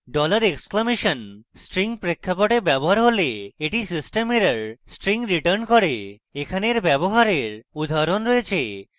dollar exclamation string প্রেক্ষাপটে ব্যবহৃত হলে এটি system error string returns করে এখানে এর ব্যবহারের উদাহরণ রয়েছে